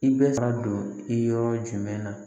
I bɛ ka don i yɔrɔ jumɛn na